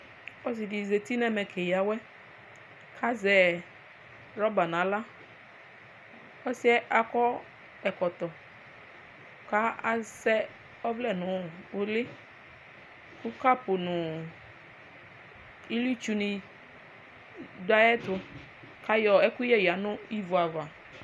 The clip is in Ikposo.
Ɔsidi zati nʋ ɛmɛ keya awɛ azɛ rɔba nʋ aɣla ɔsɩyɛ akɔ ɛkɔtɔ kʋ asɛ ɔvlɛ nʋ ʋli kʋ kapu nʋ ilitsu ni dʋ ayʋ ɛtʋ kʋ ayɔ ɛkʋyɛ ni yanʋ ivi ava